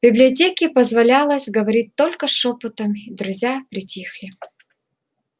в библиотеке позволялось говорить только шёпотом и друзья притихли